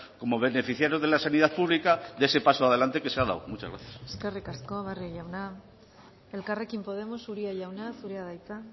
como beneficiarios de la sanidad pública de ese paso adelante que se ha dado muchas gracias eskerrik asko barrio jauna elkarrekin podemos uria jauna zurea da hitza